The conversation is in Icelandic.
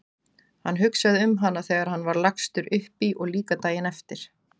Hann hugsaði um hana þegar hann var lagstur upp í og líka daginn eftir.